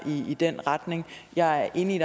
i den retning jeg er enig i at